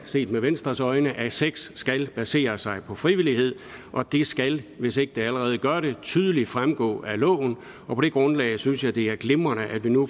set med venstres øjne sådan at sex skal basere sig på frivillighed og det skal hvis det ikke allerede gør det tydeligt fremgå af loven og på det grundlag synes jeg det er glimrende at vi nu